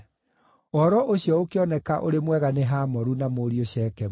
Ũhoro ũcio ũkĩoneka ũrĩ mwega nĩ Hamoru na mũriũ Shekemu.